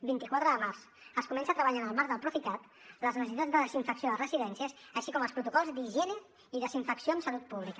vint quatre de març es comença a treballar en el marc del procicat en les necessitats de desinfecció de residències així com els protocols d’higiene i desinfecció amb salut pública